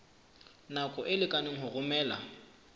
nako e lekaneng ho romela